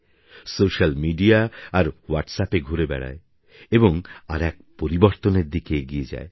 social media আর হোয়াটস্অ্যাপএ ঘুরে বেড়াবে এবং আর এক পরিবর্তনের দিকে এগিয়ে যাবে